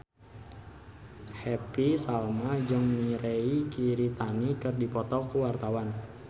Happy Salma jeung Mirei Kiritani keur dipoto ku wartawan